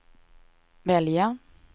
välja